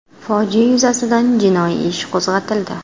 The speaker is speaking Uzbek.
Fojia yuzasidan jinoiy ish qo‘zg‘atildi .